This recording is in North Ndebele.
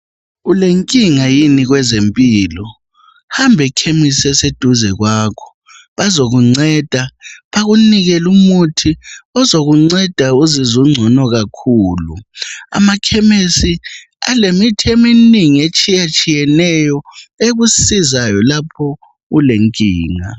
Ulenkinga yini kwezempilo? Hambe khemisi eseduze kwakho bazokunceda bakunike lumuthi ozokunceda uzizw' ungcono kakhulu. Ama khemesi alemithi eminingi etshiya tshiyeneyo ekusizayo lapho ulenkinga.